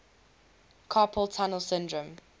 carpal tunnel syndrome